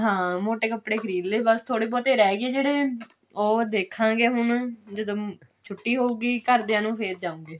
ਹਾਂ ਮੋਟੇ ਕੱਪੜੇ ਖਰੀਦ ਲੇ ਬਸ ਥੋਰੇ ਬਹੁਤੇ ਰਿਹ ਗਏ ਜਿਹੜੇ ਉਹ ਦੇਖਾਂਗੇ ਹੁਣ ਜਦ ਛੁੱਟੀ ਹੋਏਗੀ ਘਰਦਿਆਂ ਨੂੰ ਫ਼ੇਰ ਜਾਵਾਂਗੇ